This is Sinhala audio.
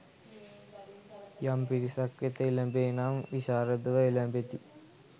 යම් පිරිසක් වෙත එළැඹේ නම් විශාරදව එළැඹෙති.